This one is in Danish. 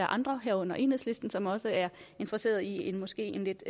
andre herunder enhedslisten som også er interesseret i en måske lidt